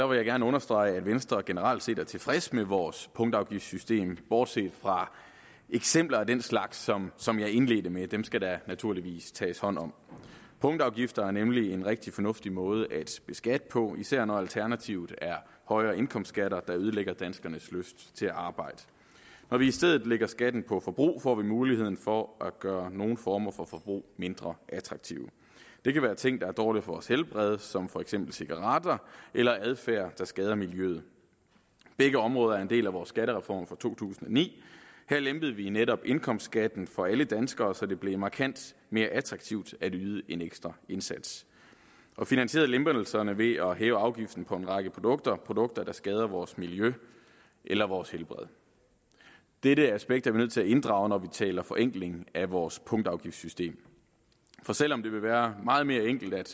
vil jeg gerne understrege at venstre generelt set er tilfreds med vores punktafgiftssystem bortset fra eksempler af den slags som som jeg indledte med at dem skal der naturligvis tages hånd om punktafgifter er nemlig en rigtig fornuftig måde at beskatte på især når alternativet er højere indkomstskatter der ødelægger danskernes lyst til at arbejde når vi i stedet lægger skatten på forbrug får vi muligheden for at gøre nogle former for forbrug mindre attraktivt det kan være ting der er dårlige for vores helbred som for eksempel cigaretter eller adfærd der skader miljøet begge områder er en del af vores skattereform fra to tusind og ni her lempede vi netop indkomstskatten for alle danskere så det blev markant mere attraktivt at yde en ekstra indsats og finansierede lempelserne ved at hæve afgiften på en række produkter produkter der skader vores miljø eller vores helbred dette aspekt er vi nødt til inddrage når vi taler forenkling af vores punktafgiftssystem for selv om det ville være meget mere enkelt at